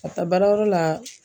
Ka taa baarayɔrɔ la